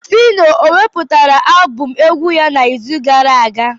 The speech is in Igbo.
Fino ewepụtara abụm egwu ya n'izu gara aga?